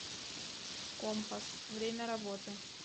компас время работы